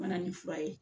Mana ni fura ye